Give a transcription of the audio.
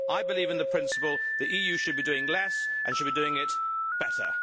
I believe in the principle that the EU should be doing less and should be doing it better.